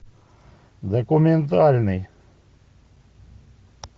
документальный